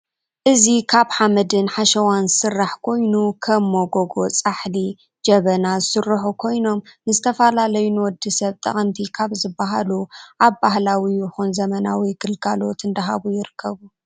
እዚ ካብ ሓመድን ሓሸዋን ዝስራሕ ኮይኑ ከም ሞጎጎ፣ ፃሕሊ፣ ጅበና ዝስርሑ ኮይኖም ንዝተፈላላዩ ንወድሰብ ጠቅምቲ ካብ ዝበሃሉ ኣብ በህላዊ ይኩን ዘመናዊ ግልገሎት እዳሃቡ ይርከበኑ